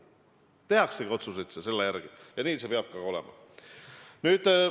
Otsuseid tehaksegi selle järgi ja nii see peab olema.